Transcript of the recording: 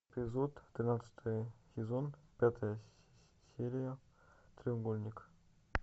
эпизод тринадцатый сезон пятая серия треугольник